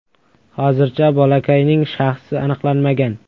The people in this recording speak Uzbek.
Hozircha bolakayning shaxsi aniqlanmagan.